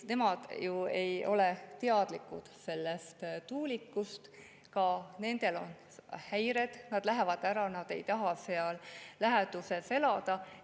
Nemad ju ei ole tuulikutest teadlikud, aga ka nendel on häired, nad lähevad ära, nad ei taha seal läheduses elada.